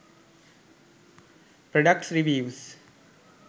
products reviews